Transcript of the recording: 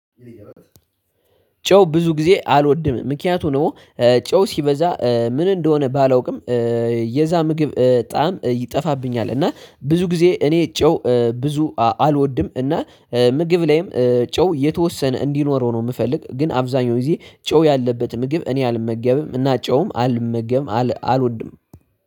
ጨው ብዙ ጊዜ አልወድም። ምክንያቱም ደግሞ ጨው ሲበዛ ምን እንደሆነ ባላውቅም የዛ ምግብ ጣዕም ይጠፋብኛል እና ብዙ ጊዜ እኔ ጨው ብዙ አልወድምእና ምግብ ላይም ጨው የተወሰነ እንዲኖረው ነው የምፈልግ። ግን አብዛኛው ጊዜ ጨው ያለበት ምግብ እኔ አልመገብም እና ጨውም አልመገብም አልወድም።